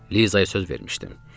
Lizaya söz vermişdim.